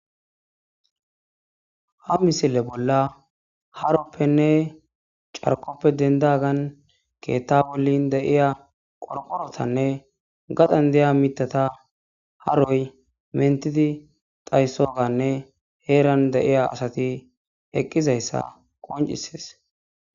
ha misile bolla haroppenne carkoppe dendagan keetha bollan deiya qorqorotanne gaxan deya mitata haroy mentidi dayssoganne heeran deiya asati eqqizayssa qoncises